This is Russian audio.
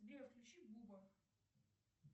сбер включи буба